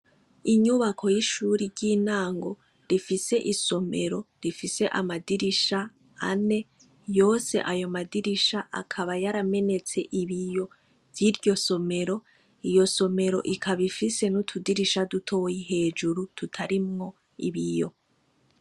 Inyubako yishure ryintango rifise isomero rifise amadirisha ane yose ayo madirisha akaba yaramenetse ibiyo vyiryo somero iryo somero ikaba ifise nutudisha dutoya hejuru turarimwo ibiyo